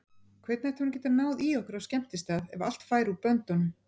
Hvernig ætti hún að geta náð í okkur á skemmtistað ef allt færi úr böndunum?